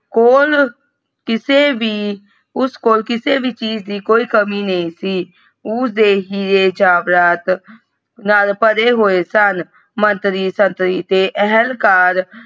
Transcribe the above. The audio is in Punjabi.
ਕੋਲ ਕਿਸੇ ਵੀ ਉਸ ਕੋਲ ਕਿਸੇ ਵੀ ਚੀਜ਼ ਦੀ ਕੋਈ ਕਮੀ ਨਹੀਂ ਸੀ ਉਹ ਦੇ ਹੀਰੇ ਜੇਵਰਾਤ ਨਾਲ ਭਰੇ ਹੋਏ ਸੁਨ ਮੰਤਰੀ ਸੁੰਤਰੀ ਤੇ ਅਹੰਕਾਰ।